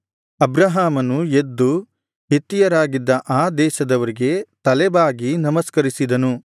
ಅಬ್ರಹಾಮನು ಎದ್ದು ಹಿತ್ತಿಯರಾಗಿದ್ದ ಆ ದೇಶದವರಿಗೆ ತಲೆಬಾಗಿ ನಮಸ್ಕರಿಸಿದನು